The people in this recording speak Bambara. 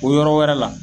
O yɔrɔ wɛrɛ la